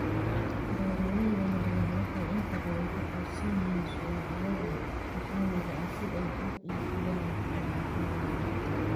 Beeralayda yaryar waxay inta badan ku tiirsan yihiin suuqyada maxaliga ah si ay u iibiyaan alaabadooda.